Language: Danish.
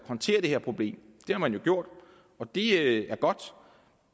håndtere det her problem det har man jo gjort og det er godt